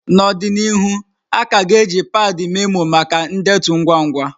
N'ọdịnihu, a ka ga-eji padi memoó maka ndetu ngwa ngwa.